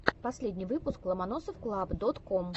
последний выпуск ломоносовклаб дот ком